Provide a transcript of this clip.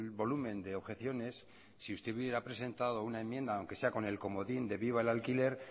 volumen de objeciones si usted hubiera presentado una enmienda aunque sea con el comodín de viva el alquiler